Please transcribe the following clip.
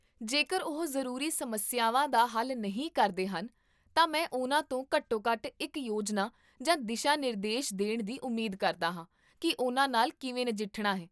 ਜੇਕਰ ਉਹ ਜ਼ਰੂਰੀ ਸਮੱਸਿਆਵਾਂ ਦਾ ਹੱਲ ਨਹੀਂ ਕਰਦੇ ਹਨ, ਤਾਂ ਮੈਂ ਉਨ੍ਹਾਂ ਤੋਂ ਘੱਟੋ ਘੱਟ ਇੱਕ ਯੋਜਨਾ ਜਾਂ ਦਿਸ਼ਾ ਨਿਰਦੇਸ਼ਦੇਣ ਦੀ ਉਮੀਦ ਕਰਦਾ ਹਾਂ ਕੀ ਉਹਨਾਂ ਨਾਲ ਕਿਵੇਂ ਨਜਿੱਠਣਾ ਹੈ